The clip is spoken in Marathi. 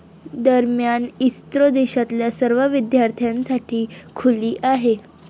दरम्यान, इस्रो देशातल्या सर्व विद्यार्थ्यांसाठी खुली आहे.